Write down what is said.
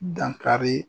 Dankari